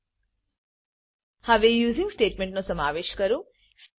હવે યુઝિંગ યુસિંગસ્ટેટમેન્ટનો સમાવેશ કરો